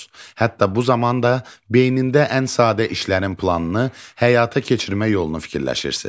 Hətta bu zaman da beynində ən sadə işlərin planını həyata keçirmək yolunu fikirləşirsiniz.